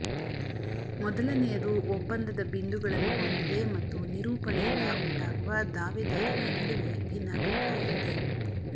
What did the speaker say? ಮೊದಲನೆಯದು ಒಪ್ಪಂದದ ಬಿಂದುಗಳನ್ನು ಹೊಂದಿದೆ ಮತ್ತು ನಿರೂಪಣೆಯಿಂದ ಉಂಟಾಗುವ ದಾವೆದಾರರ ನಡುವೆ ಭಿನ್ನಾಭಿಪ್ರಾಯವಿದೆ